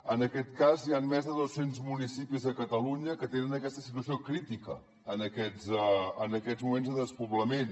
en aquest cas hi han més de dos cents municipis a catalunya que tenen aquesta situació crítica en aquests moments de despoblament